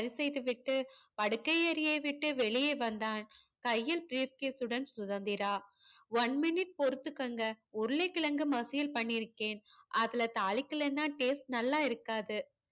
செய்து விட்டு படுக்கை அறையே விட்டு வெளிய வந்தான் கையில் briefcase உடன் சுதந்திரா one minute பொறுத்துக்கோங்க உருளைக்கிழங்கு மசியல் பண்ணிருக்கேன் அதுல தாளிக்கலனா taste நல்லா இருக்காது